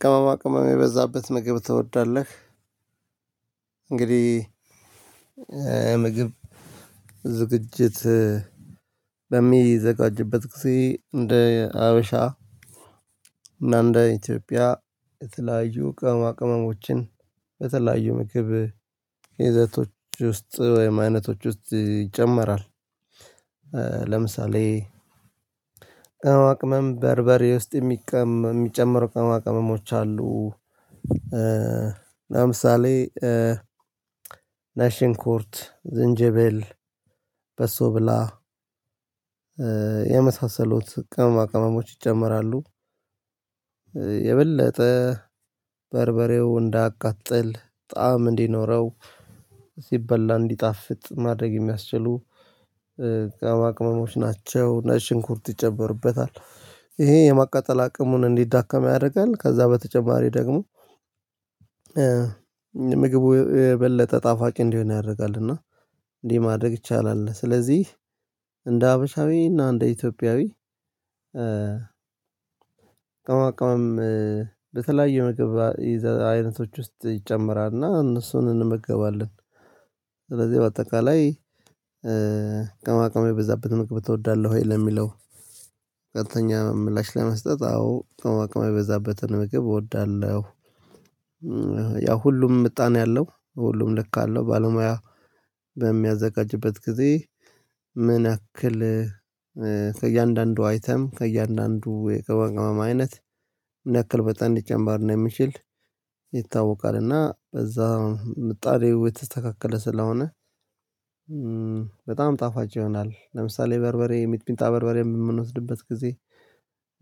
ቅመማ ቅመም የበዛበት ምግብ ትወዳለህ? እንግዲህ ምግብ ዝግጅት በሚዘጋጅበት ጊዜ እንደ ሀበሻ እና እንደ ኢትዮጵያ የተለያዩ ቅመማ ቅመሞችን የተለያዩ ምግብ ይዘቶች ውስጥ ወይም አይነቶች ውስጥ ይጨመራል። ለምሳሌ ቅመም በርበሬ ውስጥ የሚቀመ የሚጨመሩ ቅማቅመሞች አሉ። ለምሳሌ ነጭ ሽንኩርት ዝንጅብል በሶ ብላ የመሳሰሉት ቅመማ ቅመሞች ይጨመራሉ። የበለጠ በርበሬው እንዳያቃጥል ጣዕም እንዲኖረው ሲበላ እንዲጣፍጥ ማድረግ የሚያስችሉ ቅመማ ቅመሞች ናቸው። ነጭ ሽንኩርት ይጨመርበታል ይሄ የማቃጠል አቅሙን እንዲዳከም ያረጋል ከዛ በተጨማሪ ደግሞ ምግቡ የበለጠ ጣፋጭ እንዲሆን ያደርጋል። እና እንዲህ ማድረግ ይቻላል። ስለዚህ እንደ ሀበሻዊ እና እንደ ኢትዮጵያዊ ቅመማ ቅመም በተለያዩ የምግብ አይነቶች ውስጥ ይጨምራል እና እነሱን እንመገባለን። ስለዚህ በአጠቃላይ ቀማቃሚ የበዛበትን ምግብ እወዳለሁ ወይ ለሚለው ቀጥተኛ ምላሽ ለመስጠት አዎ ቅመማቅመም የበዛበትን ምግብ እወዳለሁ። ያ ሁሉም ምጣን ያለው ሁሉም ልክ አለው። ባለሙያ በሚያዘጋጅበት ጊዜ ምን ያክል ከእያንዳንዱ አይተም ከእያንዳንዱ የቅመማ ቅመም አይነት ምን ያክል መጠን ሊጨመር እንደሚችል ይታወቃል። እና እዛ ምጣኔው የተስተካከለ ስለሆነ በጣም ጣፋጭ ይሆናል። ለምሳሌ በርበሬ ሚጥሚጣ በርበሬ ምንወስድበት ጊዜ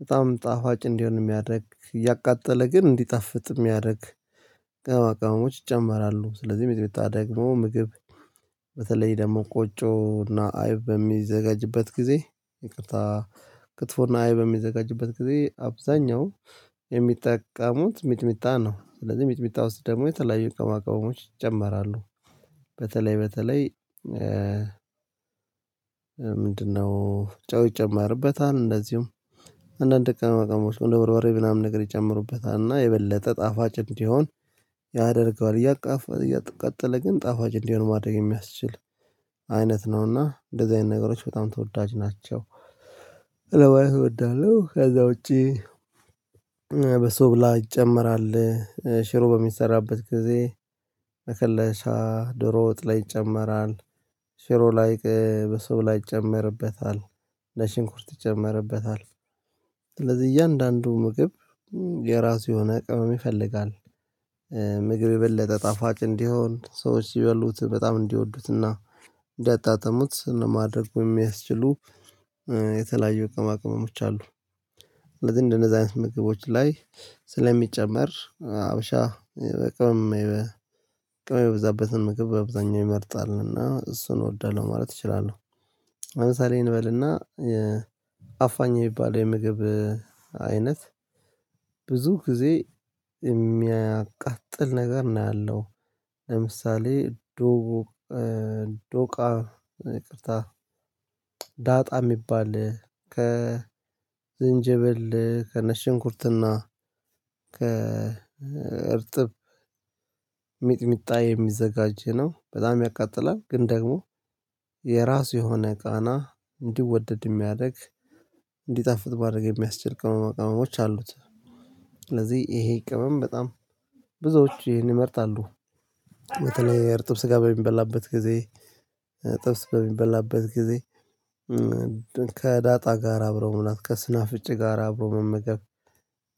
በጣም ጣፋጭ እንዲሆን ሚያደርግ እያቃጠለ ግን እንዲጣፍጥ ሚያረግ ቅመማ ቅመሞች ይጨመራሉ። ስለዚህ ሚጥሚጣ ደግሞ ምግብ በተለይ ደግሞ ቆጮ እና አይብ በሚዘጋጅበት ጊዜ ይቅርታ ክትፎ እና አይብ በሚዘጋጅበት ጊዜ አብዛኛው የሚጠቀሙት ሚጥሚጣ ነው። ስለዚህ ሚጥሚጣ ውስጥ ደግሞ የተለያዩ ቅመማቅመሞች ይጨመራሉ። በተለይ በተለይ ምንድነው? ጨው ይጨመርበታል እንደዚሁም አንዳንድ ቅመማ ቅመሞች እንደ በርበሬ ምናምን ነገር ይጨምሩበታልና እና የበለጠ ጣፋጭ እንዲሆን ያደርገዋል እያቃጠለ ግን ጣፋጭ እንዲሆን ማድረግ የሚያስችል አይነት ነውና እንደዚህ አይነት ነገሮች በጣም ተወዳጅ ናቸው። ለማየት እወዳለሁ። ከዛ ውጪ በሶብላ ይጨመራል። ሽሮ በሚሰራበት ጊዜ መከለሻ ድሮ ወጥ ላይ ይጨመራል። ሽሮ ላይ በሶብላ ይጨመርበታል ነጭሽንኩርት ይጨመርበታል። ስለዚህ እያንዳንዱ ምግብ የራሱ የሆነ ቅመም ይፈልጋል። ምግብ የበለጠ ጣፋጭ እንዲሆን ሰዎች ሲበሉት በጣም እንዲወዱትና እንዳጣጠሙት ለማድረግ የሚያስችሉ የተለያዩ እቅማቅመሞች አሉ። ስለዚህ እንደነዛ ምግቦች ላይ ስለሚጨመር ሀበሻ በቅመም ቅመም የበዛበትን ምግብ በብዛኛው ይመርጣልና እሱን እወዳለሁ ማለት እችላለሁ። ለምሳሌ እንበልና አፋኝ የሚባለው የምግብ አይነት ብዙ ጊዜ የሚያቃጥል ነገር ነው። ያለው ለምሳሌ ዶቦ ዶቃ ይቅርታ ዳጣ የሚባል ከዝንጀብል ከነጭ ሽንኩርትና ከእርጥብ ሚጥሚጣ የሚዘጋጅ ነው። በጣም ያቃጥላል ግን ደግሞ የራሱ የሆነ ቃና እንዲወደድ የሚያረግ እንዲጣፍጥ ማረግ ሚያስችል ቅመም ቅመሞች አሉት። ስለዚህ ይሄ ቅመም በጣም ብዙዎች ይህን ይመርጣሉ። በተለይ እርጥብ ስጋ በሚበላበት ጊዜ ጥብስ በሚበላበት ጊዜ ከዳጣ ጋር አብረው ምናምን ከስናፍጭ ጋር አብሮ መመገብ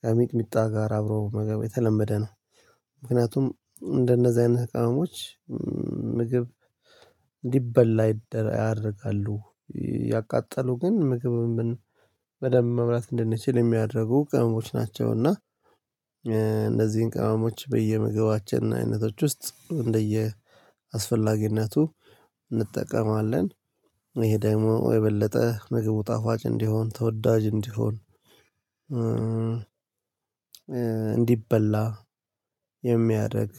ከሚጥሚጣ ጋር አብሮ መመገብ የተለመደ ነው። ምክንያቱም እንደነዚህ አይነት ቅመሞች ምግብ እንዲበላ ያደርጋሉ። ያቃጠሉ ግን ምግብ በደንብ መብላት እንድንችል የሚያደርጉ ቅምሞች ናቸው። እና እነዚህን ቅመሞች በየምግባችን አይነቶች ውስጥ እንደየአስፈላጊነቱ እንጠቀማለን። ይሄ ደግሞ የበለጠ ምግቡ ጣፋጭ እንዲሆን ተወዳጅ እንዲሆን እንዲበላ የሚያደርግ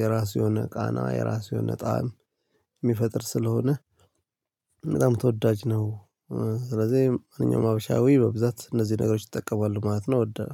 የራስ የሆነ ቃና የራስ የሆነ ጣዕም ሚፈጥር ስለሆነ በጣም ተወዳጅ ነው። ስለዚህ ማንኛውም ሀበሻዊ በብዛት እነዚህ ነገሮች ይጠቀማሉ ማለት ነው። ወደ